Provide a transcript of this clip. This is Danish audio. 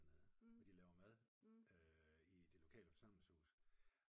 Dernede hvor de laver mad i det lokale forsamlingshus